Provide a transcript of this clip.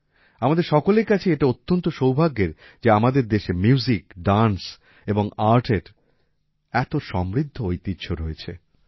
আমাদের সকলের কাছেই এটা অত্যন্ত সৌভাগ্যের যে আমাদের দেশে মিউজিক ডান্স এবং আর্টের এত সমৃদ্ধ ঐতিহ্য রয়েছে